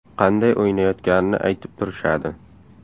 Qanday o‘ynayotganini aytib turishadi.